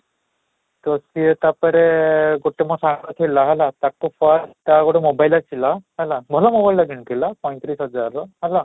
ତୋତେ ତା'ପରେ ଗୋଟେ ମୋ ସାଙ୍ଗ ଥିଲା ହେଲା ତାକୁ phone ଟା ଗୋଟେ mobile ଆସିଲା ହେଲା, ଭଲ mobile ଟା କିଣି ଥିଲା ପଞ୍ଚ ତିରିଶ ହଜାର ର ହେଲା